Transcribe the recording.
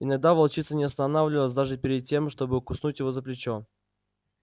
иногда волчица не останавливалась даже перед тем чтобы куснуть его за плечо